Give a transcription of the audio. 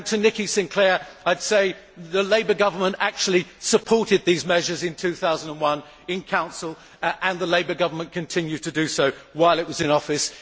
I would say to Nikki Sinclaire that the Labour government actually supported these measures in 2001 in Council and the Labour Government continued to do so while it was in office.